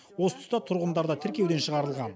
осы тұста тұрғындар да тіркеуден шығарылған